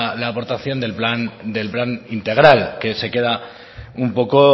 aportación del plan integral que se queda un poco